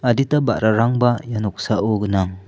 adita ba·rarangba ia noksao gnang.